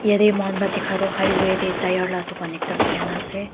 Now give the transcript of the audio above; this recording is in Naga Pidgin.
yate moi khan para dikha toh highway tey tyre la dukan ekta khulina ase.